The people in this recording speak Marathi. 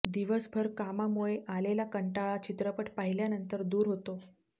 दिवसभर कामामुळे आलेला कंटाळा चित्रपट पाहिल्यानंतर दूर होतो